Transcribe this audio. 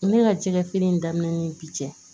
Ne ka jɛgɛfeere in daminɛnen bi cɛ